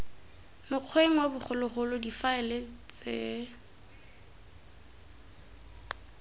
mokgweng wa bogologolo difaele ts